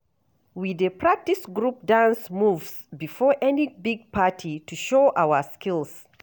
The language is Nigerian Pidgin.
We dey practice group dance moves before any big party to show our skills.